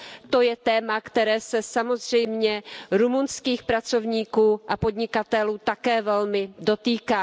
To je téma, které se samozřejmě rumunských pracovníků a podnikatelů také velmi dotýká.